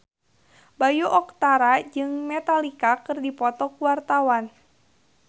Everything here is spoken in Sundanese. Bayu Octara jeung Metallica keur dipoto ku wartawan